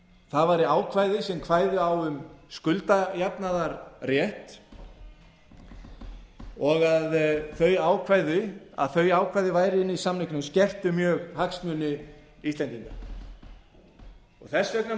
það væri ákvæði sem kvæði á um skuldajafnaðarrétt og að þau ákvæði væru inni í samningnum skerti mjög hagsmuni íslendinga þess vegna má velta